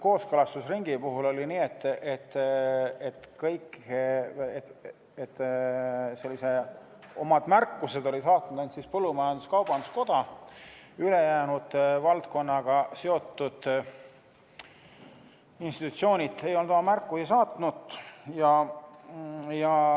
Kooskõlastusringi puhul oli nii, et oma märkused oli saatnud ainult põllumajandus-kaubanduskoda, ülejäänud valdkonnaga seotud institutsioonid ei olnud oma märkusi saatnud.